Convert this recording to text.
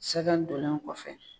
Sɛgɛn dolen kɔfɛ